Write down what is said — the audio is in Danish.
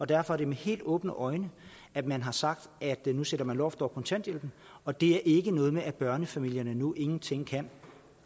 derfor er det med helt åbne øjne at man har sagt at nu sætter man loft over kontanthjælpen og det er ikke noget med at børnefamilierne nu ingenting kan